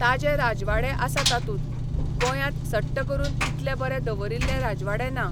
ताजे राजवाडे आसा तातूंत, गोंयांत सट्ट करून इतले बरे दवरिल्ले राजवाडे ना.